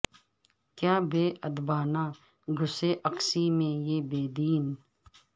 کیا بے ادبانہ گھسے اقصی میں یہ بے دین